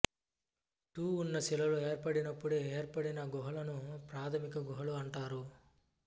ట్టూ ఉన్న శిలలు ఏర్పడినప్పుడే ఏర్పడిన గుహలను ప్రథమిక గుహలు అంటారు